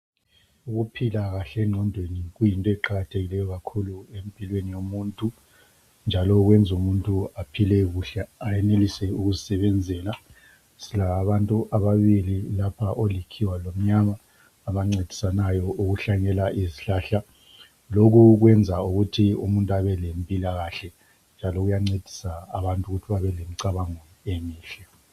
Ukuphila kahle engqondweni kuyinto eqakathekileyo kakhulu empilweni yomuntu. njalo kwenza umuntu aphile kuhle, ayenelise ukuzisebenzela. Silabo abantu ababili lapha. Olikhiwa lomnyana abancedisanayo ukuhlanyela izihlahla. Lokhu kwenza ukuthi umuntu abe lempila kahle, njalo kuyancedisa umuntu ukuthi abe lemicabango emihle..